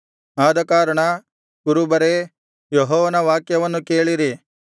ಆದಕಾರಣ ಕುರುಬರೇ ಯೆಹೋವನ ವಾಕ್ಯವನ್ನು ಕೇಳಿರಿ